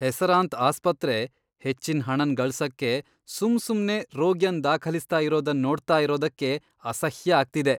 ಹೆಸರಾಂತ್ ಆಸ್ಪತ್ರೆ ಹೆಚ್ಚಿನ್ ಹಣನ್ ಗಳಸಕ್ಕೆ ಸುಮ್ ಸುಮ್ನೆ ರೋಗಿಯನ್ ದಾಖಲಿಸ್ತಾ ಇರೋದನ್ ನೋಡ್ತಾ ಇರೋದಕ್ಕೆ ಅಸಹ್ಯ ಆಗ್ತಿದೆ.